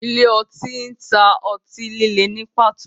Ile-oti ǹ ta o ọti-lile ni pato